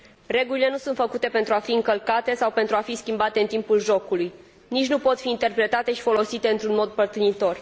Regulile nu sunt făcute pentru a fi încălcate sau pentru a fi schimbate în timpul jocului, nici nu pot fi interpretate și folosite într un mod părtinitor.